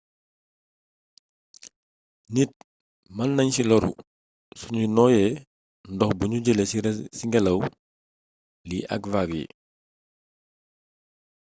nit mën nañ ci lóru suñu nooyee ndox buñu jëlee ci ngélaw li ak vague yi